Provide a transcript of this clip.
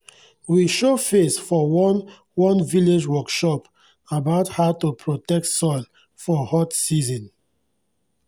we show face for one one village workshop about how to protect soil for hot season